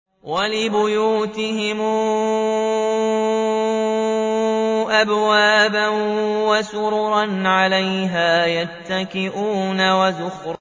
وَلِبُيُوتِهِمْ أَبْوَابًا وَسُرُرًا عَلَيْهَا يَتَّكِئُونَ